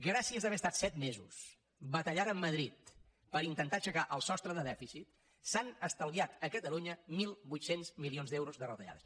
gràcies a haver estat set mesos batallant amb madrid per intentar aixecar el sostre de dèficit s’han estalviat a catalunya mil vuit cents milions d’euros de retallades